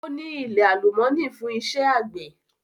Ó ní ilẹ̀ alálùmọ́nì fún iṣẹ́ àgbẹ̀.